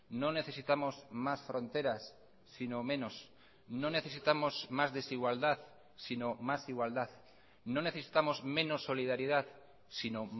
no necesitamos más fronteras sino menos no necesitamos más desigualdad sino más igualdad no necesitamos menos solidaridad sino